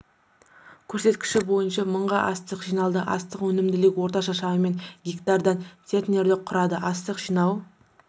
көрсеткіші бойынша мың га астық жиналды астық өнімділігі орташа шамамен гектардан центнерді құрады астық жинау